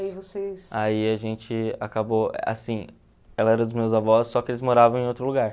E aí vocês... Aí a gente acabou, assim, ela era dos meus avós, só que eles moravam em outro lugar.